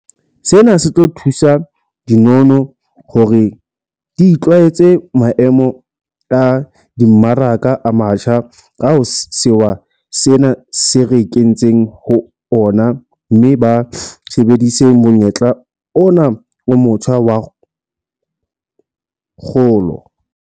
Sena se tla thusa dinono hore di itlwaetse maemo a dimmaraka a matjha ao sewa sena se re kentseng ho ona mme ba sebedise monyetla ona o motjha wa kgolo.